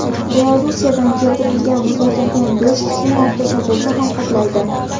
Belorussiyadan keltirilgan muzlatilgan go‘sht shu narxda sotilsa ham, qoplaydi.